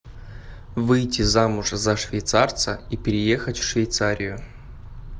выйти замуж за швейцарца и переехать в швейцарию